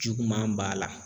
Juguman b'a la.